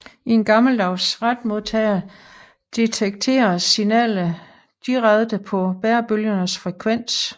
I en gammeldags retmodtager detekteres signalet direkte på bærebølgens frekvens